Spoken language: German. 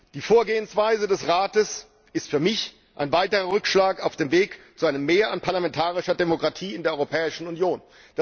Die Vorgehensweise des Rates ist für mich ein weiterer Rückschlag auf dem Weg zu einem Mehr an parlamentarischer Demokratie in der Europäischen Union.